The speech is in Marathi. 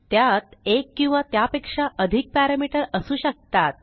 त्यात एक किंवा त्यापेक्षा अधिकparameter असू शकतात